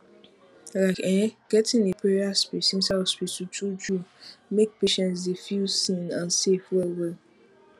like ehnn gettin a prayer space inside hospital truetrue make patients dy feel seen and safe well well